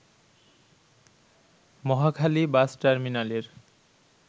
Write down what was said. Mohakhali bus টার্মিনালের